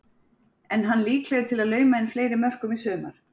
Er hann líklegur til að lauma inn fleiri mörkum í sumar?